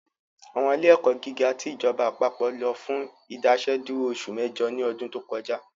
Àwọn ilé ẹ̀kọ́ gíga ti ìjọba àpapọ̀ lọ fún Ìdásẹ́dúró oṣù mẹ́jọ ní ọdún tó kọjá